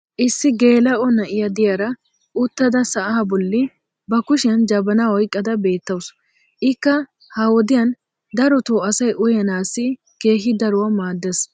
issi geela'o na'iya diyaara uttada sa'aa boli, ba kushshiyan jabanaa oyqqada beetawusu. ikka ha woddiyan darotoo asay uyyanaassi keehi daruwa maadees.